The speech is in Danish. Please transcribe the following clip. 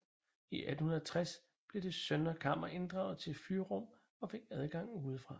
I 1860 blev det søndre kammer inddraget til fyrrum og fik adgang udefra